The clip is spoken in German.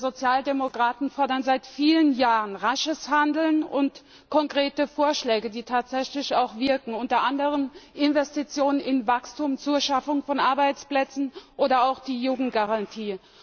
Wir Sozialdemokraten fordern seit vielen Jahren rasches Handeln und konkrete Vorschläge, die tatsächlich auch wirken, unter anderem Investitionen in Wachstum zur Schaffung von Arbeitsplätzen oder auch die Jugendgarantie.